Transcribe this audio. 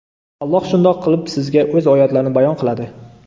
Alloh shundoq qilib sizga O‘z oyatlarini bayon qiladi.